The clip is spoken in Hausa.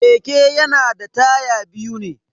Keke yana da taya biyu ne.